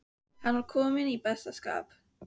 Hann var kominn í besta skap.